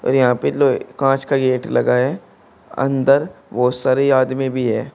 और यहां पे लोहे कांच का गेट लगा है अंदर बहुत सारे आदमी भी है।